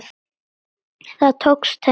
Það tókst henni.